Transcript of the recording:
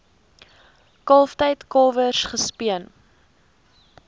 kalftyd kalwers gespeen